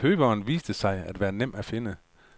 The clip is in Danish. Køberen viste sig at være nem at finde.